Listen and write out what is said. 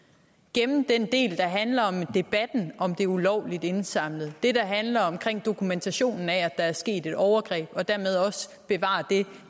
gemme den del der handler om debatten om det ulovligt indsamlede det der handler om dokumentationen af at der er sket et overgreb og dermed også bevare det